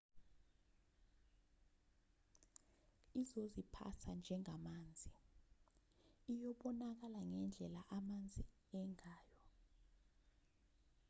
izoziphatha njengamanzi iyabonakala ngendlela amanzi angayo